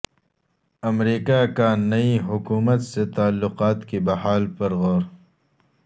امریکہ کا نئی حکومت سے تعلقات کی بحالی پر غور